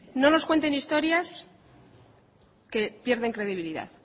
no nos cuenten historias que pierden credibilidad